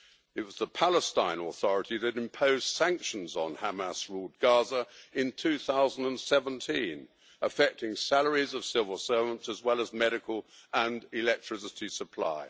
It was the Palestine Authority that imposed sanctions on Hamas ruled Gaza in 2017, affecting salaries of civil servants, as well as medical and electricity supply.